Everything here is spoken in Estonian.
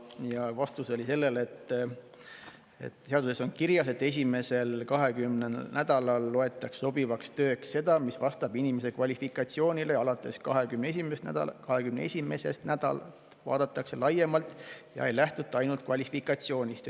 Ja vastus oli selline, et seaduses on kirjas, et esimesel 20 nädalal loetakse sobivaks tööks seda, mis vastab inimese kvalifikatsioonile, ja alates 21. nädalast vaadatakse laiemalt ega lähtuta ainult kvalifikatsioonist.